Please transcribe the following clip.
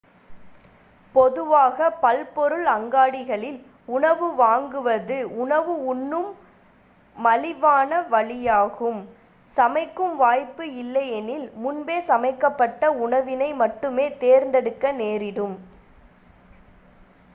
பொதுவாக பல்பொருள் அங்காடிகளில் உணவு வாங்குவது உணவு உண்ணும் மலிவான வழியாகும் சமைக்கும் வாய்ப்பு இல்லையெனில் முன்பே சமைக்கப்பட்ட உணவினை மட்டுமே தேர்தெடுக்க நேரிடும்